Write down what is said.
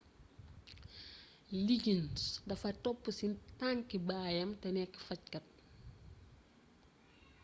liggins dafa topp ci tànkki baayam te nekk fajkat